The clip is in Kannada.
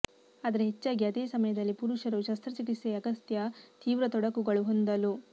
ಆದರೆ ಹೆಚ್ಚಾಗಿ ಅದೇ ಸಮಯದಲ್ಲಿ ಪುರುಷರು ಶಸ್ತ್ರಚಿಕಿತ್ಸೆಯ ಅಗತ್ಯ ತೀವ್ರ ತೊಡಕುಗಳು ಹೊಂದಲು